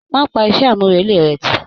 Má pa iṣẹ́ àmúrelé rẹ̀ tì.